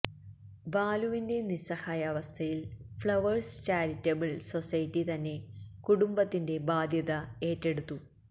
ബാലുവിന്റെ നിസ്സഹായാവസ്ഥയിൽ Flowers charitable society തന്നെ കുടുംബത്തിന്റെ ബാധ്യത ഏറ്റെടുത്തു